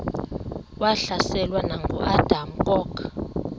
wahlaselwa nanguadam kok